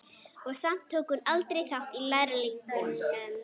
Og samt tók hún aldrei þátt í Lærlingnum.